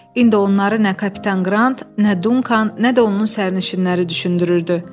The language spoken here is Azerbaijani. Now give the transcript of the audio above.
İndi onları nə kapitan Qrant, nə Dunkan, nə də onun sərnişinləri düşündürürdü.